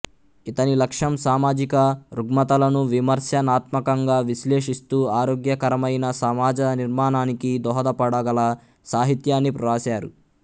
ఇతని లక్ష్యం సామాజిక రుగ్మతలను విమర్స నాత్మకంగా విశ్లేషిస్తూ ఆరోగ్యకరమైన సమాజ నిర్మాణానికి దోహదపడగల సాహిత్యాన్ని వ్రాశారు